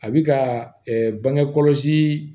A bi ka bange kɔlɔsi